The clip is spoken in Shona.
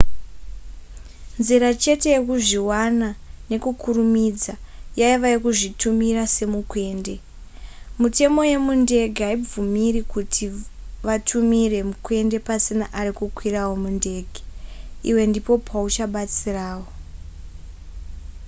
nzira chete yekuzviwana nekukurumidza yaiva yekuzvitumira semukwende mitemo yemundege haivabvumiri kuti vatumire mukwende pasina ari kukwirawo mundege iwe ndipo pauchabatsirawo